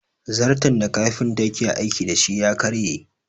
Zarton da kafinta yake aiki da shi ya karye